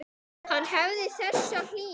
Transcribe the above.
Hann hafði þessa hlýju.